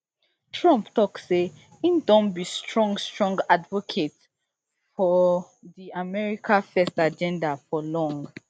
tumpt tok say e don be strong strong advocate fr di america first agenda for long